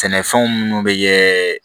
Sɛnɛfɛnw munnu bɛ kɛ